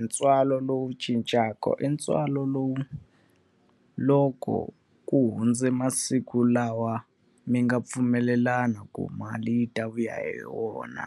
ntswalo lowu cincaka i ntswalo lowu, loko ku hundze masiku lawa mi nga pfumelelana ku mali yi ta vuya hi yona.